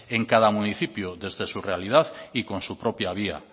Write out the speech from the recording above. en cada municipio desde su realidad y con su propia vía